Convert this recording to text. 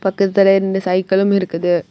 பக்கத்துல ரெண்டு சைக்கிளும் இருக்குது.